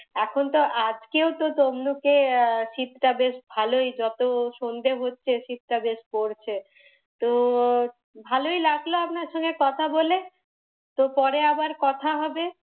এখন তো আজকেও তো তমলুকে আহ শীতটা বেশ ভালোই, যত সন্ধ্যে হচ্ছে শীতটা বেশ পড়ছে। তো ভালোই লাগলো আপনার সাথে কথা বলে, পরে আবার কথা হবে।